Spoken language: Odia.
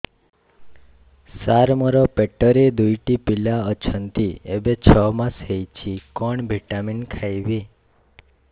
ସାର ମୋର ପେଟରେ ଦୁଇଟି ପିଲା ଅଛନ୍ତି ଏବେ ଛଅ ମାସ ହେଇଛି କଣ ଭିଟାମିନ ଖାଇବି